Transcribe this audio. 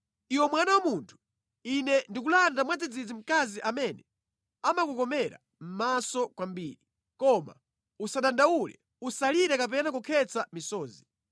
“Iwe mwana wa munthu, Ine ndikulanda mwadzidzidzi mkazi amene amakukomera mʼmaso kwambiri. Koma usadandaule, usalire kapena kukhetsa misozi.